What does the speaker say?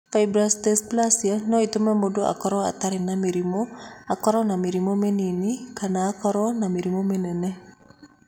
Fibrous dysplasia no ĩtũme mũndũ akorũo atarĩ na mĩrimũ, akorũo na mĩrimũ mĩnini, kana akorũo na mĩrimũ mĩnene.